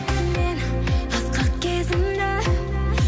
мен асқақ кезімді